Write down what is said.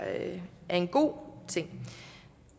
en god ting